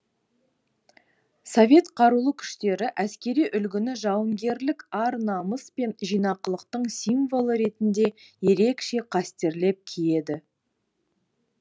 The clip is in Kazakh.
совет қарулы күштері әскери үлгіні жауынгерлік ар намыс пен жинақылықтың символы ретінде ерекше қастерлеп киеді